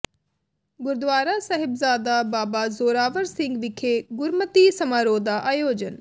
ਗੁਰਦੁਆਰਾ ਸਾਹਿਬਜਾਦਾ ਬਾਬਾ ਜ਼ੋਰਾਵਰ ਸਿੰਘ ਵਿਖੇ ਗੁਰਮਤਿ ਸਮਾਰੋਹ ਦਾ ਆਯੋਜਨ